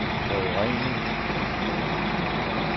forurening